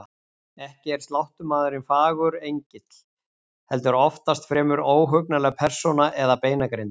Ekki er sláttumaðurinn fagur engill, heldur oftast fremur óhugnanleg persóna eða beinagrind.